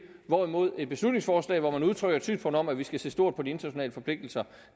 hvorimod et beslutningsforslag hvor man udtrykker et synspunkt om at vi skal se stort på de internationale forpligtelser